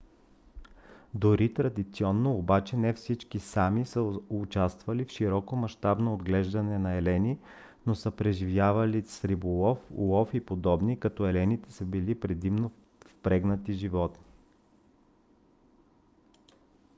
дори традиционно обаче не всички sámi са участвали в широкомащабно отглеждане на елени но са преживявали с риболов лов и подобни като елените са били предимно впрегатни животни